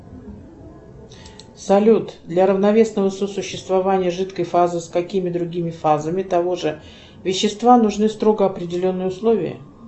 салют для равновесного сосуществования жидкой фазы с какими другими фазами того же вещества нужны строго определенные условия